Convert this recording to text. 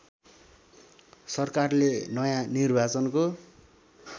सरकारले नयाँ निर्वाचनको